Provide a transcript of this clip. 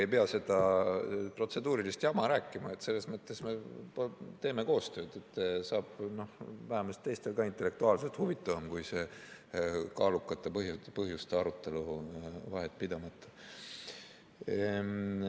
Ei pea seda protseduurilist jama rääkima, selles mõttes me teeme koostööd, vähemalt teistel ka intellektuaalselt huvitavam kui see kaalukate põhjuste arutelu vahetpidamata.